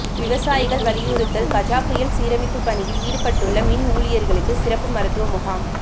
விவசாயிகள் வலியுறுத்தல் கஜா புயல் சீரமைப்பு பணியில் ஈடுபட்டுள்ள மின் ஊழியர்களுக்கு சிறப்பு மருத்துவ முகாம்